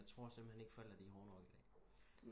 Jeg tro simpelthen ikke forældre er hårde nok i dag